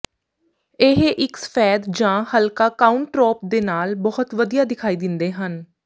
ਇਹ ਇੱਕ ਸਫੈਦ ਜਾਂ ਹਲਕਾ ਕਾਊਂਟਰੌਪ ਦੇ ਨਾਲ ਬਹੁਤ ਵਧੀਆ ਦਿਖਾਈ ਦਿੰਦੇ ਹਨ